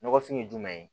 Nɔgɔfin ye jumɛn ye